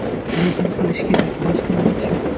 Lekin qilish kerak, boshqa iloji yo‘q.